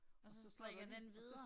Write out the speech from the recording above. Og så strikker den videre